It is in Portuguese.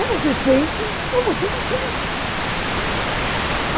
Ou você sente, ou você não sente.